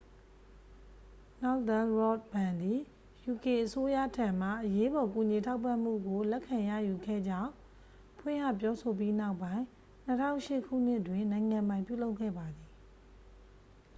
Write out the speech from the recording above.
northern rock ဘဏ်သည် uk အစိုးရထံမှ အရေးပေါ် ကူညီထောက်ပံ့မှုကို လက်ခံရယူခဲ့ကြောင့် ဖွင့်ဟပြောဆိုပြီးနောက်ပိုင်း 2008 ခုနှစ်တွင် နိုင်ငံပိုင်ပြုလုပ်ခဲ့ပါသည်